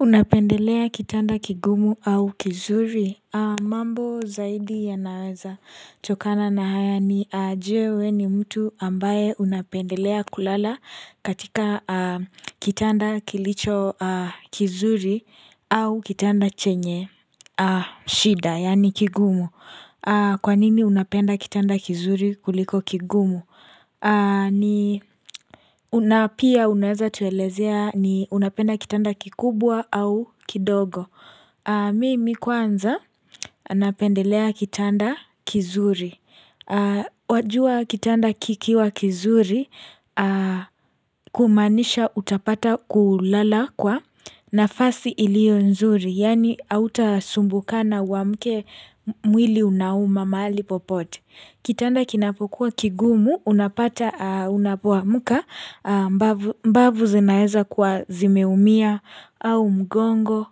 Unapendelea kitanda kigumu au kizuri. Mambo zaidi ya naweza chokana na haya ni ajewe ni mtu ambaye unapendelea kulala katika kitanda kilicho kizuri au kitanda chenye, shida, yani kigumu. Kwa nini unapenda kitanda kizuri kuliko kigumu? Na pia unapenda kitanda kikubwa au kidogo. Mimi kwanza napendelea kitanda kizuri. Wajua kitanda kikiwa kizuri kumanisha utapata kulala kwa nafasi ilio nzuri. Yaani hauta sumbukana wa mke mwili unauma maali popote Kitanda kinapokuwa kigumu unapata unapuwa muka Mbabu zinaeza kwa zimeumia au mgongo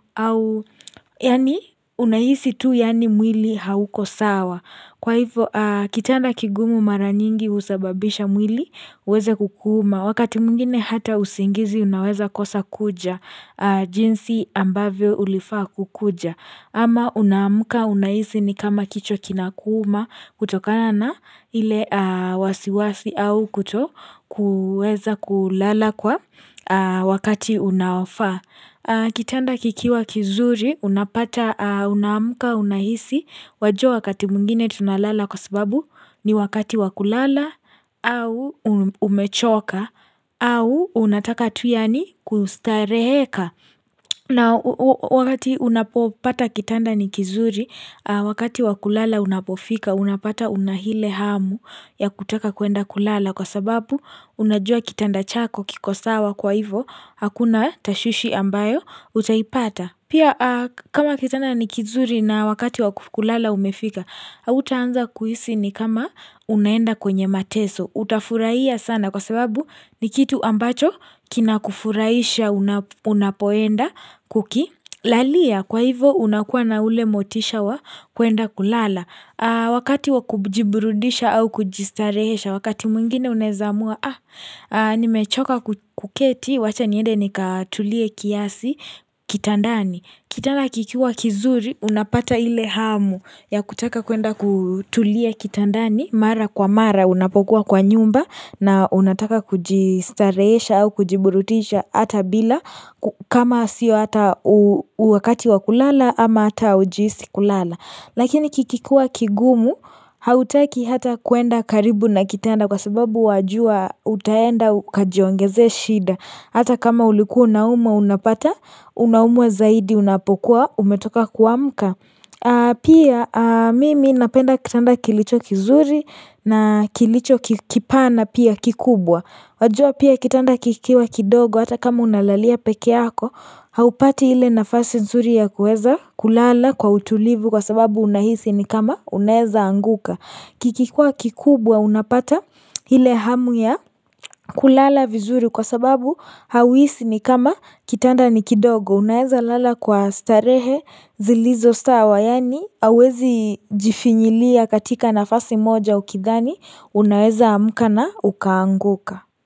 yani unaisi tu yani mwili hauko sawa Kwa hivyo kitanda kigumu mara nyingi usababisha mwili uweze kukuma wakati mwingine hata usingizi unaweza kosa kuja jinsi ambavyo ulifaa kukuja ama unamuka unahisi ni kama kicho kinakuma kutokana na ile wasiwasi au kuto kueza kulala kwa wakati unawafa Kitanda kikiwa kizuri unapata unamuka unahisi Wajo wakati mungine tunalala kwa sababu ni wakati wakulala au umechoka au unataka tu aini kustareheka na wakati unapopata kitanda nikizuri wakati wakulala unapofika unapata unahile hamu ya kutaka kuenda kulala kwa sababu unajua kitanda chako kiko sawa kwa hivo Hakuna tashushi ambayo utaipata Pia kama kitanda nikizuri na wakati wakulala umefika utaanza kuhisi ni kama unaenda kwenye mateso utafurahia sana kwa sababu ni kitu ambacho kina kufuraisha unapoenda kuki lalia kwa hivo unakuwa na ule motisha wa kuenda kulala wakati wakujiburudisha au kujistarehesha wakati mwingine unezamua ah nimechoka kuketi wacha niende nikatulie kiasi kitandani. Kitana kikiwa kizuri unapata ile hamu ya kutaka kuenda kutulia kitandani mara kwa mara unapokuwa kwa nyumba na unataka kujistareesha au kujiburutisha hata bila kama sio hata uwakati wa kulala ama hata ujiisi kulala. Lakini kikikua kigumu hautaki hata kuenda karibu na kitenda kwa sababu wajua utaenda kajiongeze shida hata kama uliku unauma unapata unaumwe zaidi unapokuwa umetoka kuamka Pia mimi napenda kitanda kilicho kizuri na kilicho kipana pia kikubwa wajua pia kitanda kikiwa kidogo hata kama unalalia pekeako haupati hile nafasi nzuri ya kueza kulala kwa utulivu kwa sababu unahisi ni kama unaeza anguka. Kikikwa kikubwa unapata hile hamu ya kulala vizuri kwa sababu hawisi ni kama kitanda ni kidogo. Unaeza lala kwa starehe zilizo stawa yani awezi jifinyilia katika nafasi moja ukidhani unaeza amuka na ukaanguka.